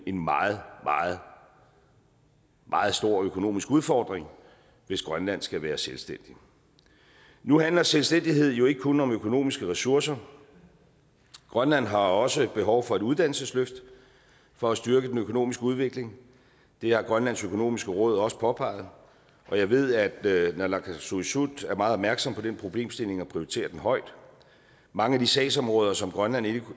en meget meget meget stor økonomisk udfordring hvis grønland skal være selvstændigt nu handler selvstændighed jo ikke kun om økonomiske ressourcer grønland har også behov for et uddannelsesløft for at styrke den økonomiske udvikling det har grønlands økonomiske råd også påpeget og jeg ved at naalakkersuisut er meget opmærksom på den problemstilling og prioriterer den højt mange af de sagsområder som grønland endnu